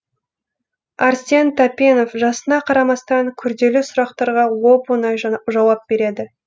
әрсен тәпенов жасына қарамастан күрделі сұрақтарға оп оңай жауап береді